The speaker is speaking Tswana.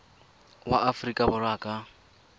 wa aforika borwa a ka